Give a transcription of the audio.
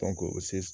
o